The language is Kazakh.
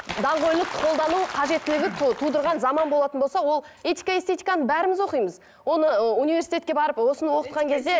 даңғойлық қолдану қажеттілігі тудырған заман болатын болса ол этика эстетиканы бәріміз оқимыз оны ы универститетке барып осыны оқытқан кезде